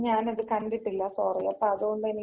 ഞാൻ അത് കണ്ടിട്ടില്ല സോറി. അപ്പൊ അത് കൊണ്ട് എനിക്കത്, ആ